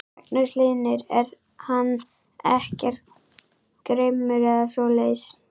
Magnús Hlynur: Er hann ekkert grimmur eða svoleiðis?